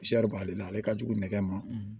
b'ale la ale ka jugu nɛgɛma